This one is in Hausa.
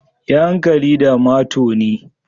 Yi hankali da matoni.